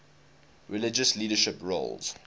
religious leadership roles